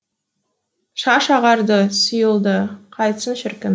шаш ағарды сұйылды қайтсін шіркін